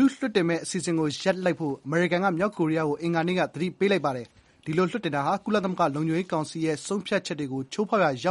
လွှတ်တင်မယ့်အစီအစဉ်ကိုရပ်လိုက်ဖို့ အမေရိကန်ပြည်ထောင်စုက မြောက်ကိုရီးယားကို အင်္ဂါနေ့က သတိပေးလိုက်ပါတယ်။ ဒီလိုလွှတ်တင်တာဟာ ကုလသမဂ္ဂလုံခြုံရေးကောင်စီရဲ့ ဆုံးဖြတ်ချက်တွေကို ချိုးဖောက်ရာရော